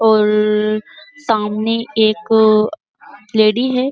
और सामने एक लेडी है।